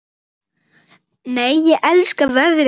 Nei, ég elska veðrið hérna!